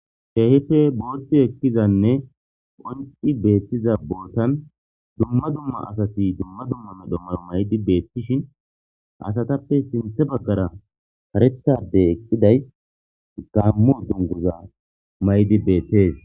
Keehippe booti ekizaynne qonci betiza botani dumma dumma asati dumma dumma medho mayo mayid betishn asatappe sinthe Bagara karetha Adey eqidays gaamo dunguza mayidi betesi.